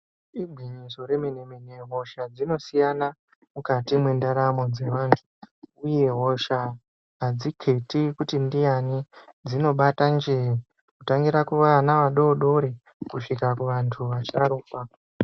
Igwinyiso yemene mene hosha dzinosiyana mukati mwendaramo dzevantu uye hosha hadziketi kuti ndiani dzinobata njero , kutangira vana vadoodori kusvika kuvantuu vasharukwaa.